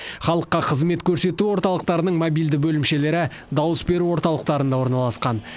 халыққа қызмет көрсету орталықтарының мобильді бөлімшелері дауыс беру орталықтарында орналасқан